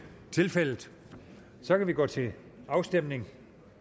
tilfældet og så kan vi gå til afstemning